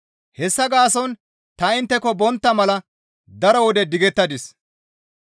Hessa gaason ta intteko bontta mala daro wode digettadis.